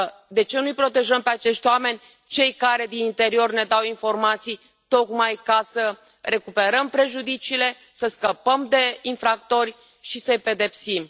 De ce nu i protejăm pe acești oameni cei care din interior ne dau informații tocmai ca să recuperăm prejudiciile, să scăpăm de infractori și să i pedepsim?